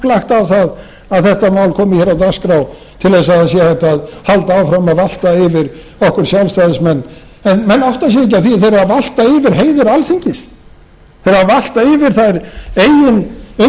lagt á það að þetta mál komi hér á dagskrá til þess að það sé hægt að halda áfram að valta yfir okkur sjálfstæðismenn menn átta sig ekki á því að þeir eru að valta eftir heiður alþingis þeir eru að valta yfir þeirra